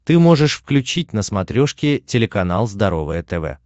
ты можешь включить на смотрешке телеканал здоровое тв